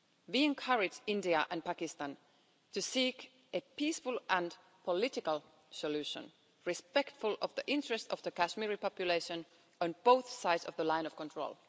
We encourage India and Pakistan to seek a peaceful and political solution, respectful of the interests of the Kashmiri population on both sides of the Line of Control.